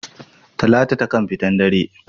Talatu taƙan fitan dare.